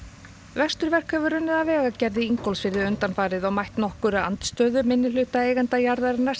vesturverk hefur unnið að vegagerð í Ingólfsfirði undanfarið og mætt nokkurri andstöðu minnihluta eigenda jarðarinnar